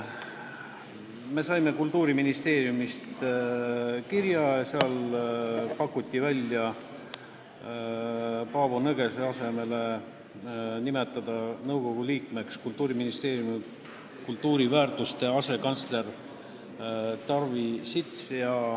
Me saime Kultuuriministeeriumist kirja ja seal pakuti välja nimetada Paavo Nõgese asemele nõukogu liikmeks Kultuuriministeeriumi kultuuriväärtuste asekantsler Tarvi Sits.